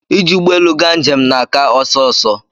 ị ji ụgbọelu ga njem na aka ọsọ ọsọ